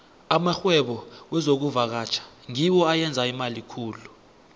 amarhwebo wezokuvakatjha ngiwo ayenza imali khulu